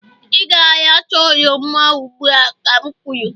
ị ga-aracha oroma ugbu a ka m kwuru!